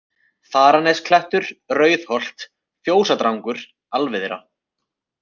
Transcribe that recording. Þaranesklettur, Rauðholt, Fjósadrangur, Alviðra